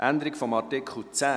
Gibt es Wortmeldungen?